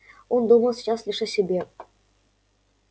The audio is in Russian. он думал сейчас лишь о себе